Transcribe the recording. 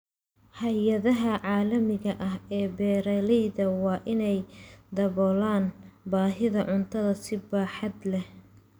Hay'adaha caalamiga ah ee beeralayda waa in ay daboolaan baahida cuntada si baaxad leh.